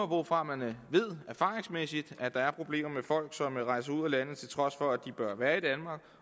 hvorfra man erfaringsmæssigt at der er problemer med folk som rejser ud af landet til trods for at de bør være i danmark